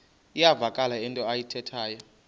iyavakala into ayithethayo